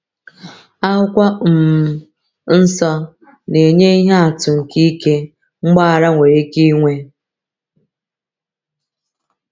Akwụkwọ um Nsọ na-enye ihe atụ nke ike mgbaghara nwere ike inwe.